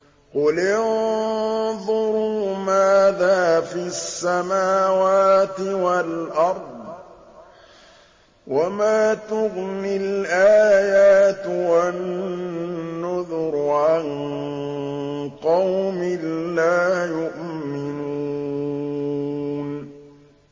قُلِ انظُرُوا مَاذَا فِي السَّمَاوَاتِ وَالْأَرْضِ ۚ وَمَا تُغْنِي الْآيَاتُ وَالنُّذُرُ عَن قَوْمٍ لَّا يُؤْمِنُونَ